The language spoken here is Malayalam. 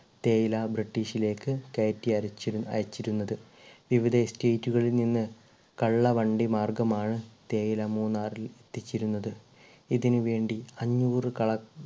തേയില british ലേക്ക് കയറ്റി അരച്ചിരു അയച്ചിരുന്നത് ഇവിടെ estate കളിൽ നിന്ന് കള്ളവണ്ടി മാർഗമാണ് തേയില മൂന്നാറിൽ എത്തിച്ചിരുന്നത് ഇതിനുവേണ്ടി അഞ്ഞൂറ് കള